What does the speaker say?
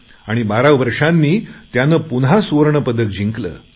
आणि बारा वर्षांनी त्याने पुन्हा सुवर्णपदक जिंकले